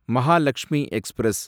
Mahalakshmi express